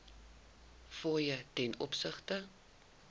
fooie ten opsigte